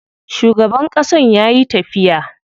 Shugaban ƙasan yayi tafiya.